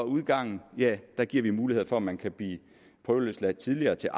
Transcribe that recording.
udgangen giver vi mulighed for at man kan blive prøveløsladt tidligere til